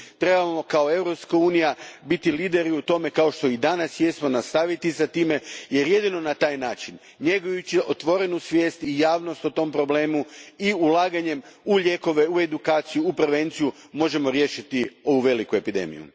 Trebamo kao Europska unija biti lideri u tome, kao što i danas jesmo, nastaviti s time, jer jedino na taj način, njegujući otvorenu svijest i javnost o tom problemu i ulaganjem u lijekove, u edukaciju, u prevenciju možemo riješiti ovu veliku epidemiju.